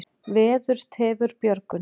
Veður tefur björgun.